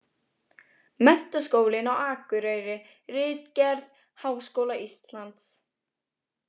Menntaskólinn á Akureyri- ritgerð, Háskóla Íslands.